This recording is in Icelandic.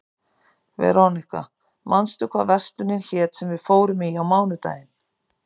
Veróníka, manstu hvað verslunin hét sem við fórum í á mánudaginn?